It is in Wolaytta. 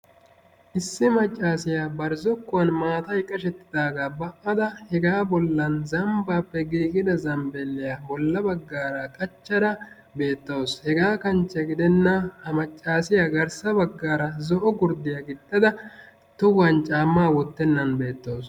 Issi maccaasiya bari zokkuwan maatayi qashettidaagaa ba"ada hegaa bollan zambbaappe giigiya zambbiilliya bolla baggaara qachchada beettawus. Hegaa kanchche gidenna ha maccaasiya garssa baggaara zo"o gurddiya gixxada tohuwan caammaa wottennan beettawus